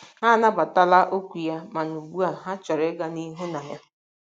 Ha anabatala okwu ya, ma ugbu a ha chọrọ ịga n’ihu na ya.